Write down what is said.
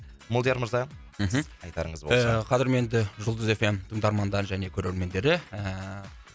молдияр мырза мхм сіздің айтарыңыз болса ііі қадірменді жұлдыз эф эм тыңдармандары және көрермендері ііі